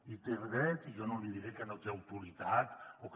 hi té dret i jo no li diré que no té autoritat o que